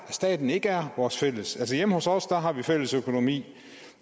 staten ikke er vores fælles altså hjemme hos os har vi fælles økonomi